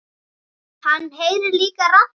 Hann heyrir líka raddir.